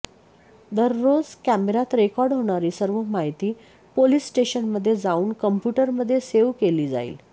दररोज कॅमेऱ्यात रेकॉर्ड होणारी सर्व माहिती पोलीस स्टेशनमध्ये जाऊन कॉम्प्यूटरमध्ये सेव्ह केली जाईल